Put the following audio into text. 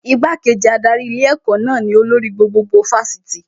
Igbá-kejì adarí ilé ẹ̀kọ́ náà ni olórí gbogbogbò Fásitì